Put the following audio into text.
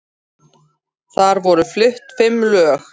Þar voru flutt fimm lög